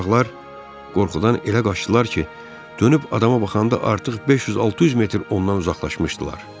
Uşaqlar qorxudan elə qaçdılar ki, dönüb adama baxanda artıq 500-600 metr ondan uzaqlaşmışdılar.